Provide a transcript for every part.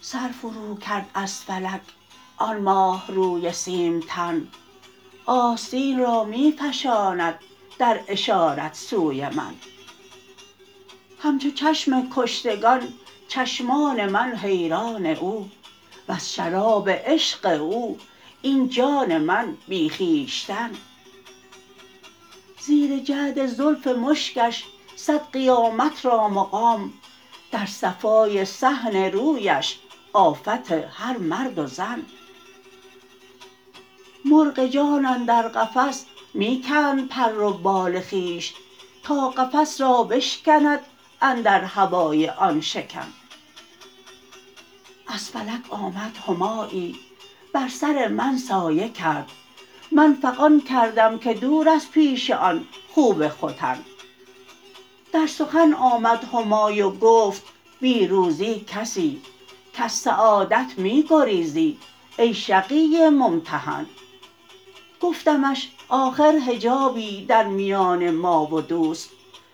سر فروکرد از فلک آن ماه روی سیمتن آستین را می فشاند در اشارت سوی من همچو چشم کشتگان چشمان من حیران او وز شراب عشق او این جان من بی خویشتن زیر جعد زلف مشکش صد قیامت را مقام در صفای صحن رویش آفت هر مرد و زن مرغ جان اندر قفس می کند پر و بال خویش تا قفس را بشکند اندر هوای آن شکن از فلک آمد همایی بر سر من سایه کرد من فغان کردم که دور از پیش آن خوب ختن در سخن آمد همای و گفت بی روزی کسی کز سعادت می گریزی ای شقی ممتحن گفتمش آخر حجابی در میان ما و دوست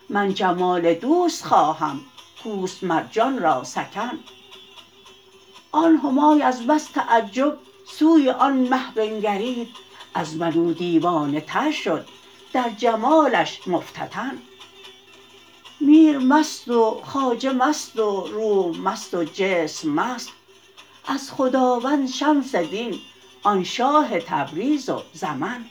من جمال دوست خواهم کو است مر جان را سکن آن همای از بس تعجب سوی آن مه بنگرید از من او دیوانه تر شد در جمالش مفتتن میر مست و خواجه مست و روح مست و جسم مست از خداوند شمس دین آن شاه تبریز و زمن